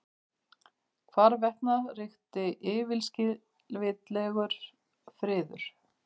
Hvarvetna ríkti yfirskilvitlegur friður.